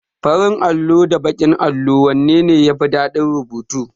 Farin allo da baƙin allo wanne ne yafi dadin rubutu?